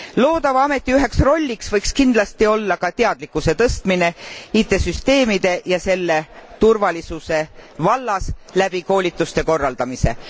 Loodava ameti üheks rolliks võiks kindlasti olla ka teadlikkuse tõstmine IT süsteemide ja selle turvalisuse vallas läbi koolituste korraldamise.